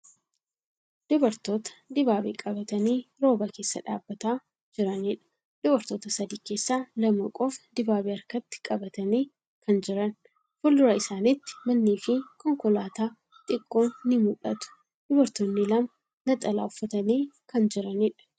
Dubartoota dibaabee qabatanii rooba keessa dhaabbataa jiraniidha. Dubartoota sadi keessa lama qofa dibaabee harkatti qabatanii kan jira. Fuuldura isaaniitti mannii fii konkolaataa xiqqoon ni mul'atti. Dubartoonni lama naxalaa uffatanii kan jiraniidha.